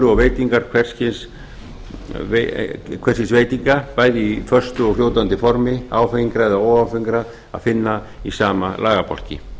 og veitingar hvers kyns veitinga bæði í föstu og fljótandi formi áfengra eða óáfengra að finna í sama lagabálki